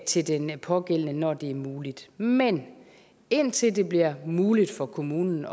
til den pågældende når det er muligt men indtil det bliver muligt for kommunen